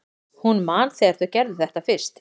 Hún man þegar þau gerðu þetta fyrst.